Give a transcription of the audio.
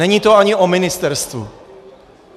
Není to ani o ministerstvu.